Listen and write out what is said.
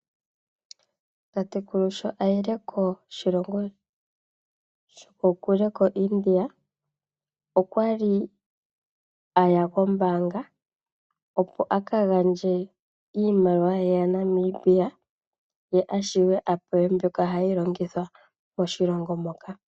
Aakwashigwana yaNamibia osho wo iilongo yimwe ngele yayi koIndia, ohaya pumbiwa ya lundulule iimaliwa yawo kwaambyoka yaIndia. Ohashi kwathele opo ya lande iipumbiwa yawo.